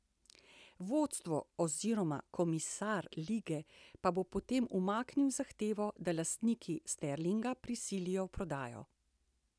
Vodstvo oziroma komisar lige pa bo potem umaknil zahtevo, da lastniki Sterlinga prisilijo v prodajo.